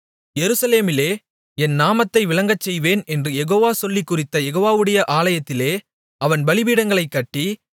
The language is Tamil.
எருசலேமிலே என் நாமத்தை விளங்கச்செய்வேன் என்று யெகோவா சொல்லிக் குறித்த யெகோவாவுடைய ஆலயத்திலே அவன் பலிபீடங்களைக் கட்டி